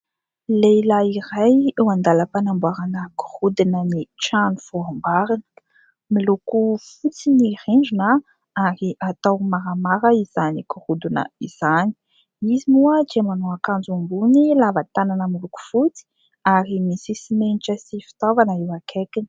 Lehilahy iray eo an-dalam-panamboarana gorodonan'ny trano vao amboarina. Miloko fotsy ny rindrina ary atao maramara izany gorodona izany. Izy moa dia manao akanjo ambony lava tanana miloko fotsy ary misy simenitra sy fitaovana eo akaikiny.